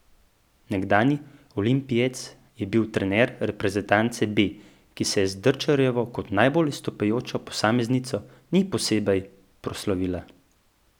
Nekdanji olimpijec je bil trener reprezentance B, ki se z Drčarjevo kot najbolj izstopajočo posameznico ni posebej proslavila.